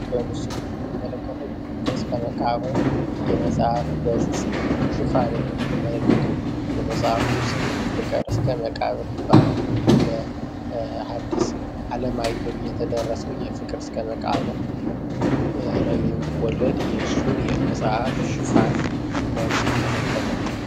በምስሉ እንመለከተው የፍቅር እስከ መቃብር የመጽሐፍ ገፅ ሽፋንን ነው የምንመለከተው የመጽሐፉ ስምም ፍቅር እስከ መቃብር ይባላል። በሃዲስ አለማየሁ የተደረሰው የፍቅር እስከ መቃብር ረጅም ልብ ወለድ የሱን የመጽሐፍ ሽፋን ነው የሚመለከተው።